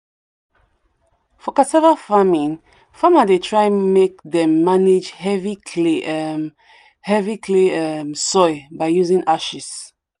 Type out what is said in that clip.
for cassava farming farmer dey try make them manage heavy clay um heavy clay um soil by using ashes.